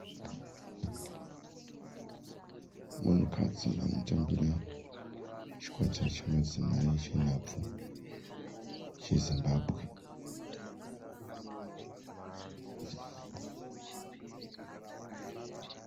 Munhukadzi anotambira chikwata chemadzimai chenhabvu cheZimbabwe.